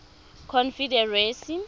confederacy